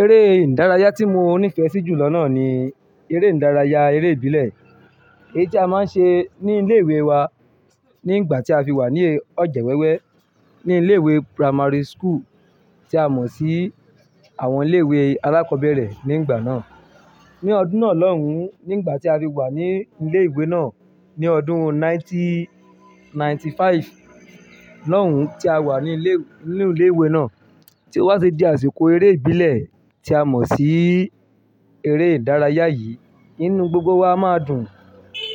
Eré ìdárayá tí mo nífẹ̀ẹ́ sí jù lọ náà ni eré ìdárayá, eré ìbílẹ̀. Èyí tí a máa ń ṣe ní ilé ìwé wa ní ìgbà tí a fi wà ní ọjẹwẹ́wẹ́ ní ilé ìwé primary school tí a mọ̀ sí àwọn ilé ìwé alákọ̀ọ́bẹ̀rẹ̀ nígbà náà. Ni ọdún náà lọ́hùn, ní ìgbà tí a fi wà ní ilé ìwé náà ní ọdún ninety-ninety five lọhun tí a wà ní ilé, ní ilé ìwé náà tí o wá fi di àsìkò eré ìbílẹ̀ tí a mọ̀ sí eré ìdárayá yìí. Nínú gbogbo wa máa dùn